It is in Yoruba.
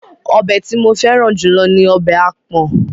Ọbẹ̀ tí mo fẹ́ràn jù lọ ní ọbẹ̀ àpọ̀n.